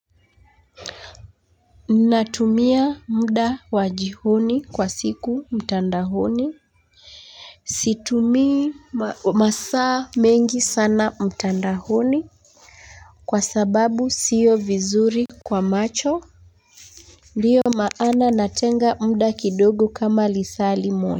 Natumia muda wa jioni kwa siku mtandaoni situmi masaa mengi sana mtandaoni kwa sababu sio vizuri kwa macho ndiyo maana natenga muda kidogo kama lisaa limoja.